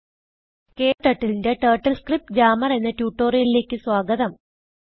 ക്ടർട്ടിൽ ന്റെ turtle script grammar എന്ന ട്യൂട്ടോറിയലിലേക്ക് സ്വാഗതം